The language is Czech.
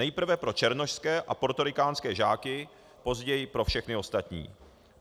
Nejprve pro černošské a portorikánské žáky, později pro všechny ostatní.